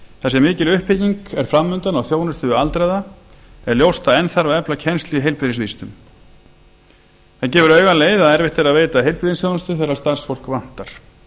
þar sem mikil uppbygging er fram undan á þjónustu við aldraða er ljóst að enn þarf að efla kennslu í heilbrigðisvísindum það gefur auga leið að erfitt er að veita heilbrigðisþjónustu þegar starfsfólk vantar